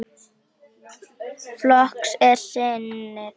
Flokks er sinni þessi maður.